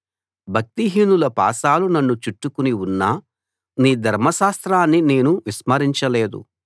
భక్తిహీనుల పాశాలు నన్ను చుట్టుకుని ఉన్నా నీ ధర్మశాస్త్రాన్ని నేను విస్మరించ లేదు